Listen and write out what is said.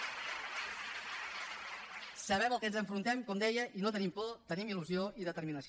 sabem al que ens enfrontem com deia i no tenim por tenim il·lusió i determinació